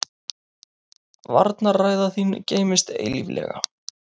Varnarræða þín geymist eilíflega.